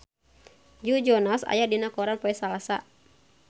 Joe Jonas aya dina koran poe Salasa